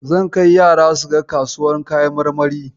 Zan kai yara suga kasuwar kayan marmari.